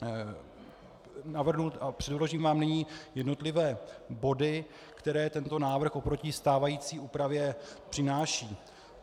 Předložím vám nyní jednotlivé body, které tento návrh oproti stávající úpravě přináší.